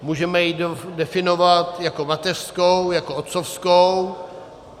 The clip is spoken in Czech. Můžeme ji definovat jako mateřskou, jako otcovskou.